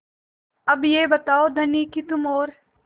अब यह बताओ धनी कि तुम और